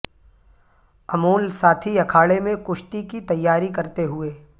امول ساتھی اکھاڑے میں کشتی کی تیاری کرتے ہوئے